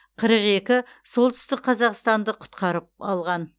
қырық екі солтүстік қазақстанды құтқарып алған